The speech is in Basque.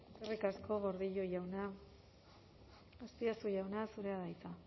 eskerrik asko gordillo jauna azpiazu jauna zurea da hitza